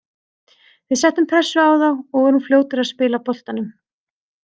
Við settum pressu á þá og vorum fljótir að spila boltanum.